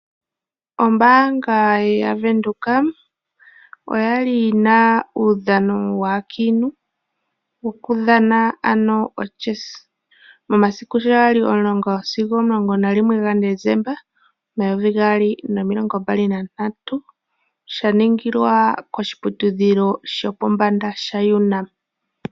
Ombaanga yaVenduka oya li yina uudhano waakiintu, okudhana ano o'chess' momadiku sho ga li 11 Desemba 2023. Sha ningilwa koshiputudhilo shopombanda sha UNAM.